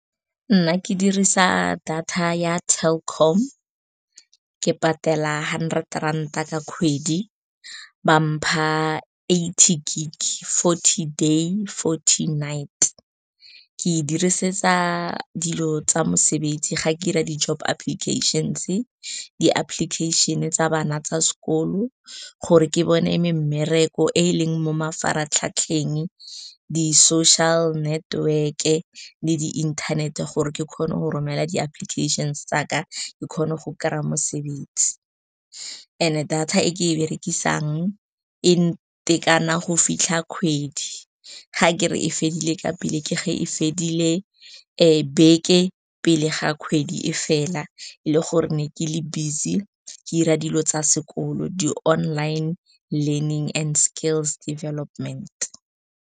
Nna ke dirisa data ya Telkom. Ke patela hundred ranta ka kgwedi, ba mpha eighty gig-e, forty day, forty night. Ke e dirisetsa dilo tsa mosebetsi, ga ke 'ira di-job applications, di-application tsa bana tsa sekolo gore ke bone mmereko e e leng mo mafaratlhatlheng, di-social network-e le di inthanete gore ke kgone go romela di-application tsaka, ke kgone go kry-a mosebetsi. And-e data e ke e berekisang e ntekana go fitlha kgwedi. Ga ke re fedile ka pele, ke ge e fedile beke pele ga kgwedi e fela, e le gore ne ke le busy ke 'ira dilo tsa sekolo, di-online learning and skills development.